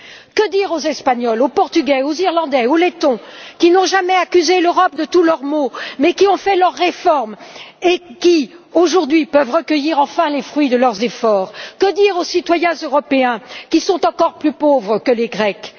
Que dire aux Espagnols, aux Portugais, aux Irlandais et aux Lettons, qui n'ont jamais accusé l'Europe de tous leurs maux, mais qui ont fait leurs réformes et qui, aujourd'hui, peuvent cueillir enfin les fruits de leurs efforts? Que dire aux citoyens européens qui sont encore plus pauvres que les Grecs?